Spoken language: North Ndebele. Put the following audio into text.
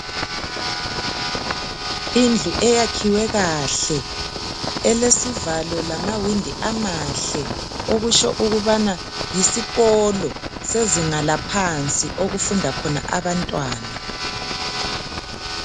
Indlu eyakhiwe kahle elesivalo lamawindi amahle okusho okubana yisikolo sezinga laphansi okufunda khona abantwana